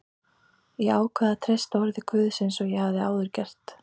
Ég ákvað að treysta orði Guðs eins og ég hafði áður gert.